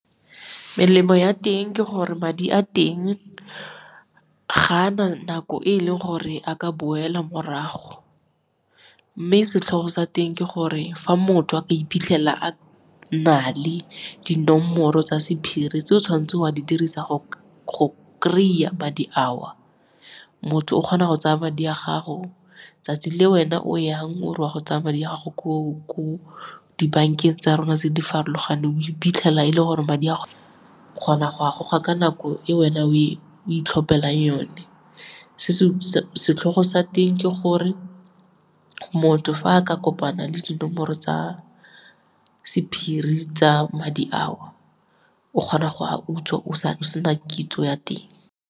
Melemo ya teng ke gore madi a teng ga ana nako e e leng gore a ka boela morago, mme e setlhogo sa teng ke gore fa motho a ka iphitlhela a na le dinomoro tsa sephiri tse o tshwanetseng wa di dirisa go kry-a madi ao. Motho o kgona go tsaya madi a gago, 'tsatsi le wena o yang o re o a go tsaya madi a gago ko dibankeng tsa rona tse di farologaneng o iphitlhela e le gore madi a kgona go agoga ka nako e wena o e itlhophela yone. Setlhogo sa teng ke gore motho fa a ka kopana le dinomoro tsa sephiri tsa madi ao o kgona go utswa o sena kitso ya teng.